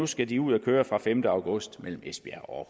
skal de ud at køre fra femte august mellem esbjerg og